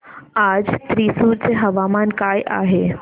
आज थ्रिसुर चे हवामान काय आहे